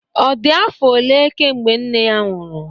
ọ dị afọ ole mgbe nne ya nwụrụ?